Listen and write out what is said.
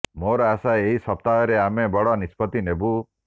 ମୋର ଆଶା ଏହି ସପ୍ତାହରେ ଆମେ ବଡ଼ ନିଷ୍ପତ୍ତି ନେବୁ